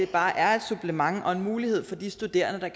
bare er et supplement og en mulighed for de studerende der